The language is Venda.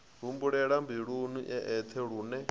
humbulela mbiluni e eṱhe lune